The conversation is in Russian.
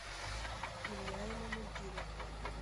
илья имамутдинов